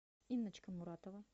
инночка муратова